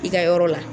I ka yɔrɔ la